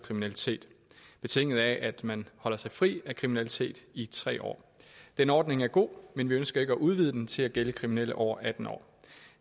kriminalitet betinget af at man holder sig fri af kriminalitet i tre år den ordning er god men vi ønsker ikke at udvide den til at gælde kriminelle over atten år